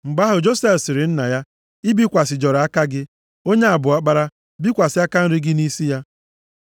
Mgbe ahụ, Josef sịrị nna ya, “I bikwasịjọrọ aka gị. Onye a bụ ọkpara, bikwasị aka nri gị nʼisi ya.”